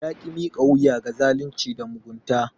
Ya ki miƙa wuya ga zalunci da mugunta.